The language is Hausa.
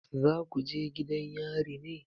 Za ku je gidan yari ne?